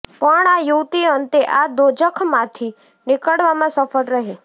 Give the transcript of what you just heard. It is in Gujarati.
પણ આ યુવતી અંતે આ દોજખમાંથી નીકળવામાં સફળ રહી